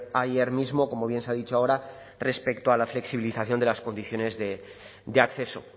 ayer mismo como bien se ha dicho ahora respecto a la flexibilización de las condiciones de acceso